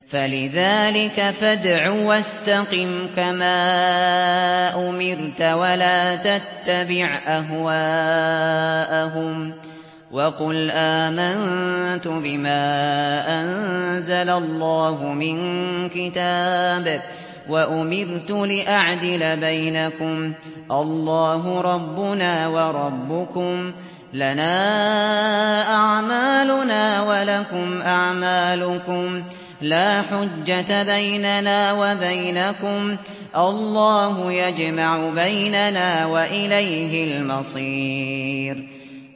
فَلِذَٰلِكَ فَادْعُ ۖ وَاسْتَقِمْ كَمَا أُمِرْتَ ۖ وَلَا تَتَّبِعْ أَهْوَاءَهُمْ ۖ وَقُلْ آمَنتُ بِمَا أَنزَلَ اللَّهُ مِن كِتَابٍ ۖ وَأُمِرْتُ لِأَعْدِلَ بَيْنَكُمُ ۖ اللَّهُ رَبُّنَا وَرَبُّكُمْ ۖ لَنَا أَعْمَالُنَا وَلَكُمْ أَعْمَالُكُمْ ۖ لَا حُجَّةَ بَيْنَنَا وَبَيْنَكُمُ ۖ اللَّهُ يَجْمَعُ بَيْنَنَا ۖ وَإِلَيْهِ الْمَصِيرُ